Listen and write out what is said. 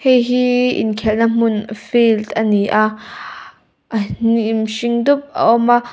heihi inkhelhna hmun field ani a a hnim hring dup a awm a.